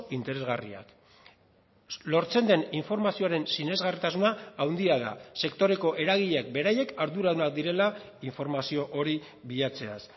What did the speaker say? interesgarriak lortzen den informazioaren sinesgarritasuna handia da sektoreko eragileek beraiek arduradunak direla informazio hori bilatzeaz